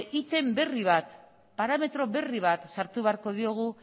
item berri bat parametro berri bat sartu beharko diogu